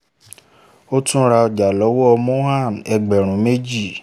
ó tún ra ọjà lọ́wọ́ mohan ẹgbẹ̀rún méjì